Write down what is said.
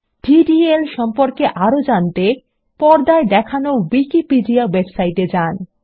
DDL সম্পর্কে আরো জানতে পর্দায় দেখানো উইকিপিডিয়া ওয়েবসাইটে যান